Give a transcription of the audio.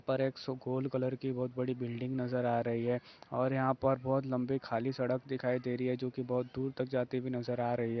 पर एक कलर की बहुत बड़ी बिल्डिंग नजर आ रही है और यहाँ पर बहुत लम्बी खाली सड़क दिखाई दे रही है जो की बहुत दूर तक जाती हुई नजर आ रही है।